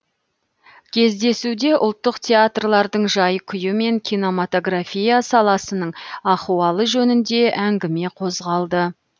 кездесуде ұлттық театрлардың жай күйі мен кинематография саласының ахуалы жөнінде әңгіме қозғалды